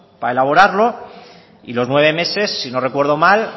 para elaborarlo y los nueve meses si no recuerdo mal